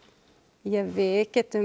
ja við getum